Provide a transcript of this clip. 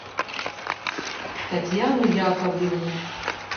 татьяну яковлевну